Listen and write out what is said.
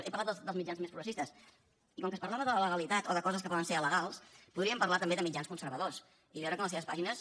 he parlat dels mitjans més progressistes i com que es parlava de la legalitat o de coses que poden ser alegals podríem parlar també de mitjans conservadors i veure que en les seves pàgines